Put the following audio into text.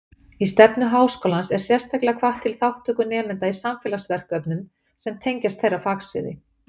Í stefnu Háskólans er sérstaklega hvatt til þátttöku nemenda í samfélagsverkefnum sem tengjast þeirra fagsviði.